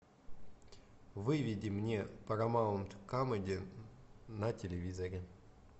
выведи мне парамаунд камеди на телевизоре